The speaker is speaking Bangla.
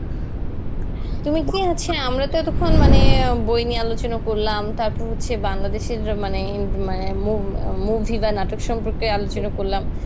তুমি কি হচ্ছে আমরা তো এতক্ষণ মানে আ বই নিয়ে আলোচনা করলাম তারপর হচ্ছে বাংলাদেশের মানে ইম মা মো~ ইমা movie বা নাটক সম্পর্কে আলোচনা করলাম.